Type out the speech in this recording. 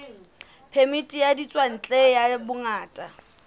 phemiti ya ditswantle ya bongaka